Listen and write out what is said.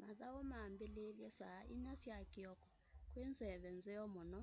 mathau mambiliilye saa inya sya kioko kwi nzeve nzeo muno